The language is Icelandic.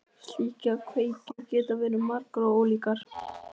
Slíkar kveikjur geta verið margar og ólíkar.